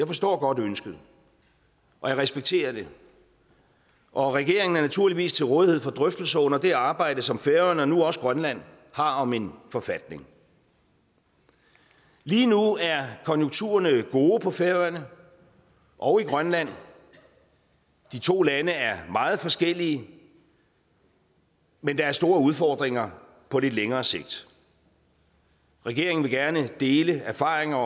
forstår godt ønsket og jeg respekterer det og regeringen er naturligvis til rådighed for drøftelser under det arbejde som færøerne og nu også grønland har om en forfatning lige nu er konjunkturerne gode på færøerne og i grønland de to lande er meget forskellige men der er store udfordringer på lidt længere sigt regeringen vil gerne dele erfaringer